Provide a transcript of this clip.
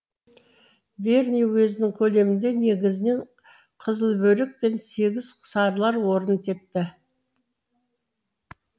верный уезінің көлемінде негізінен қызылбөрік пен сегіз сарылар орын тепті